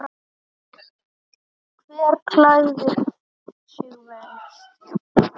Hver klæðir sig verst?